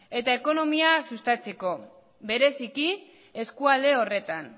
eta ekonomia sustatzeko bereziki eskualde horretan